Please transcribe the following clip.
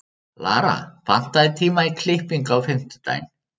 Lara, pantaðu tíma í klippingu á fimmtudaginn.